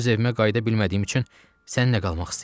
Öz evimə qayıda bilmədiyim üçün səndə qalmaq istəyirəm.